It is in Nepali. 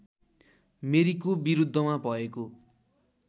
मेरीको विरुद्धमा भएको